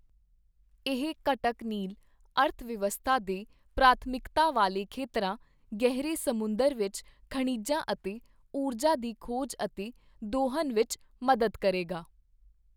ਇਹ ਘਟਕ ਨੀਲ ਅਰਥ-ਵਿਵਸਥਾ ਦੇ ਪ੍ਰਾਥਮਿਕਤਾ ਵਾਲੇ ਖੇਤਰਾਂ, ਗਹਿਰੇ ਸਮੁੰਦਰ ਵਿੱਚ ਖਣਿਜਾਂ ਅਤੇ ਊਰਜਾ ਦੀ ਖੋਜ ਅਤੇ ਦੋਹਨ ਵਿੱਚ ਮਦਦ ਕਰੇਗਾ।